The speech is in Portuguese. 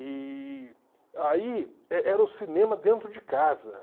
E aí e era o cinema dentro de casa.